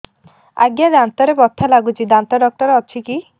ଆଜ୍ଞା ଦାନ୍ତରେ ବଥା ଲାଗୁଚି ଦାନ୍ତ ଡାକ୍ତର ଅଛି କି